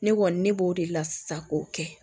Ne kɔni ne b'o de la sisan k'o kɛ